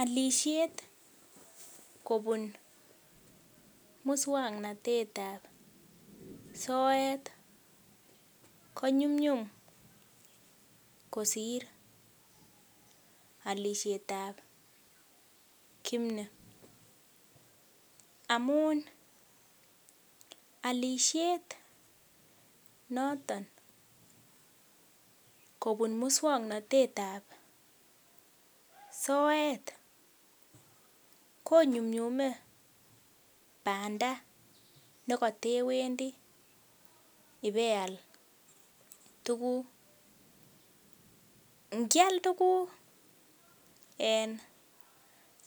Olishet kobun muswongnotet ab soet konyumnyum kosir olishet ab kimni amun olishet noton kobun muswongnotet ab soet konyumnyume banda nekatewendi ibeal tuguk ngial tuguk en